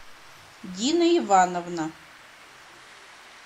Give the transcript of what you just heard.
дина ивановна